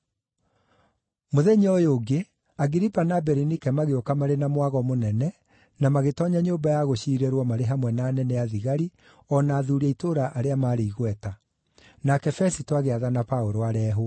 Mũthenya ũyũ ũngĩ, Agiripa na Berinike magĩũka marĩ na mwago mũnene na magĩtoonya nyũmba ya gũciirĩrwo marĩ hamwe na anene a thigari o na athuuri a itũũra arĩa maarĩ igweta. Nake Fesito agĩathana Paũlũ areehwo.